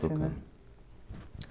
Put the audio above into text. Tocando.